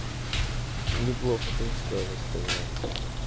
неплохо ты устроилась коза